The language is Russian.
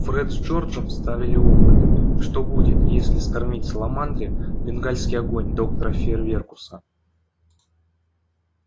фред с джорджем ставили опыт что будет если скормить саламандре бенгальский огонь доктора фейерверкуса